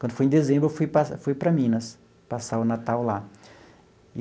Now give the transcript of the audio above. Quando foi em dezembro, eu fui para fui para Minas, passar o Natal lá.